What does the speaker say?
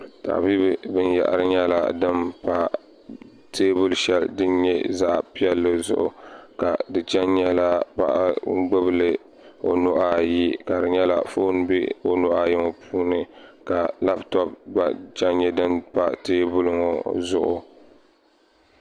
Tabibi binyɛhiri nyɛla din pa teebuli shɛli din nyɛ zaɣ' piɛlli zuɣu ka di che n-nyɛla paɣa n-ɡbubi li o nuhi ayi ka di nyɛla foon m-be o nuhi ayi ŋɔ puuni ka labutɔpu ɡba che n-nyɛ din pa teebuli ŋɔ zuɣu